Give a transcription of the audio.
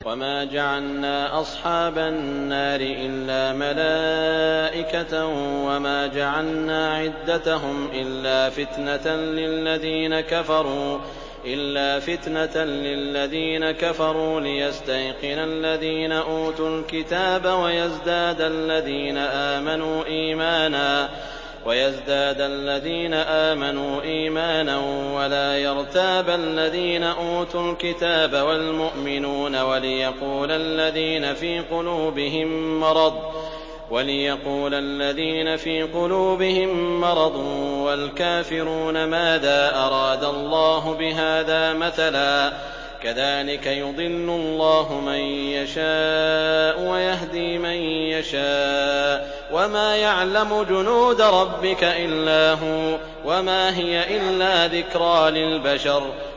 وَمَا جَعَلْنَا أَصْحَابَ النَّارِ إِلَّا مَلَائِكَةً ۙ وَمَا جَعَلْنَا عِدَّتَهُمْ إِلَّا فِتْنَةً لِّلَّذِينَ كَفَرُوا لِيَسْتَيْقِنَ الَّذِينَ أُوتُوا الْكِتَابَ وَيَزْدَادَ الَّذِينَ آمَنُوا إِيمَانًا ۙ وَلَا يَرْتَابَ الَّذِينَ أُوتُوا الْكِتَابَ وَالْمُؤْمِنُونَ ۙ وَلِيَقُولَ الَّذِينَ فِي قُلُوبِهِم مَّرَضٌ وَالْكَافِرُونَ مَاذَا أَرَادَ اللَّهُ بِهَٰذَا مَثَلًا ۚ كَذَٰلِكَ يُضِلُّ اللَّهُ مَن يَشَاءُ وَيَهْدِي مَن يَشَاءُ ۚ وَمَا يَعْلَمُ جُنُودَ رَبِّكَ إِلَّا هُوَ ۚ وَمَا هِيَ إِلَّا ذِكْرَىٰ لِلْبَشَرِ